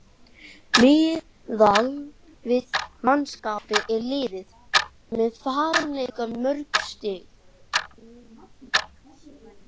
Miðað við mannskap er liðið með fáránlega mörg stig.